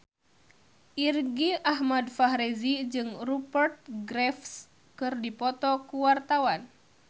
Irgi Ahmad Fahrezi jeung Rupert Graves keur dipoto ku wartawan